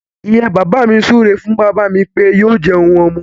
Ìyá bàbá mi súré fún bàbá mí pé yóò jẹun ọmọ.